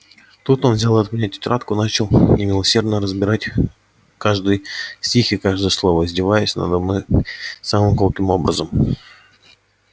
тут он взял от меня тетрадку и начал немилосердно разбирать каждый стих и каждое слово издеваясь надо мной самым колким образом